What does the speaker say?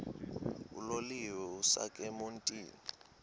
uloliwe ukusuk emontini